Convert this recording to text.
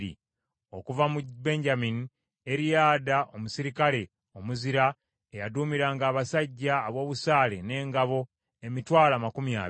Okuva mu Benyamini: Eriyada, omuserikale omuzira, eyaduumiranga abasajja ab’obusaale n’engabo emitwalo amakumi abiri (200,000),